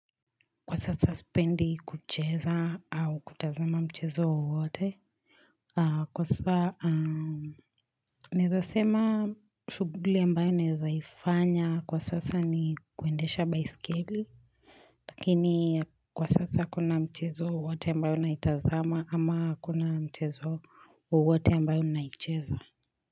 Kwa sasa spendi kucheza au kutazama mchezo wowote. Kwa sasa naeza sema shuguli ambayo naeza ifanya kwa sasa ni kuendesha baiskeli. Lakini kwa sasa hakuna mchezo wowote ambayo naitazama ama hakuna mchezo wowote ambayo naicheza.